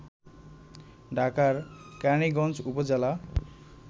ঢাকার কেরানীগঞ্জ উপজেলা